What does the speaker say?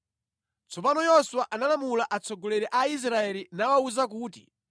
Tsono Yoswa analamula atsogoleri a Aisraeli nawawuza kuti,